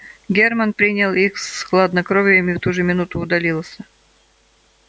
германн принял их с хладнокровием и в ту же минуту удалился